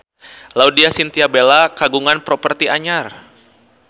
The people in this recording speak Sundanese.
Laudya Chintya Bella kagungan properti anyar